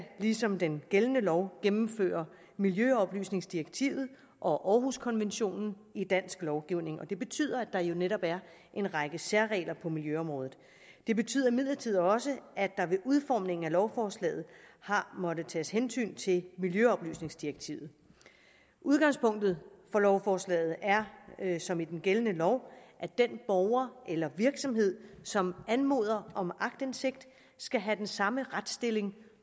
ligesom den gældende lov gennemføre miljøoplysningsdirektivet og århuskonventionen i dansk lovgivning og det betyder at der jo netop er en række særregler på miljøområdet det betyder imidlertid også at der ved udformningen af lovforslaget har måttet tages hensyn til miljøoplysningsdirektivet udgangspunktet for lovforslaget er som i den gældende lov at den borger eller virksomhed som anmoder om aktindsigt skal have den samme retsstilling